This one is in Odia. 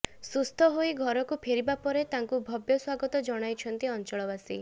ସୁସ୍ଥ ହୋଇ ଘରକୁ ଫେରିବା ପରେ ତାଙ୍କୁ ଭବ୍ୟ ସ୍ୱାଗତ ଜଣାଇଛନ୍ତି ଅଞ୍ଚଳବାସୀ